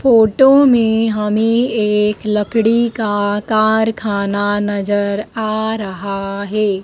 Photo में हमें एक लकड़ी का कारखाना नजर आ रहा है।